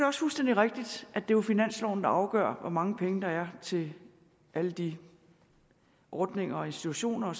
også fuldstændig rigtigt at det jo er finansloven der afgør hvor mange penge der er til alle de ordningerne og institutioner